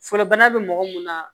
Fɔlɔ bana bɛ mɔgɔ mun na